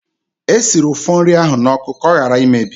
Esiri ụfọ nri ahụ n'oku ka ọ hara imebi.